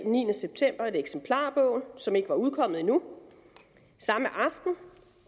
niende september et eksemplar af bogen som ikke var udkommet endnu samme aften